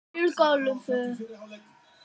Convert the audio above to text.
Björgúlfur